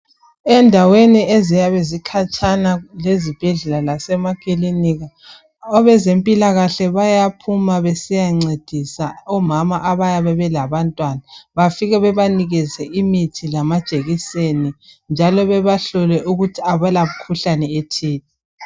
Endaweni eziyabe zikhatshana lezibhedlela lasemakilinika abezempilakahle bayaphuma besiyancedisa omama abayabe belabantwana bafike bebanike imithi lamajekiseni njalo bebahlole ukuthi abalamkhuhlane ethile.